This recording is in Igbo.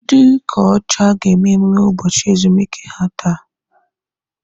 Ndị ụka ọcha ga-eme emume ụbọchị ezumike ha taa.